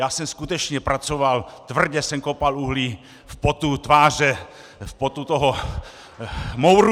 Já jsem skutečně pracoval, tvrdě jsem kopal uhlí v potu tváře, v potu toho mouru.